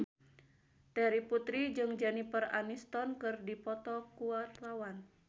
Terry Putri jeung Jennifer Aniston keur dipoto ku wartawan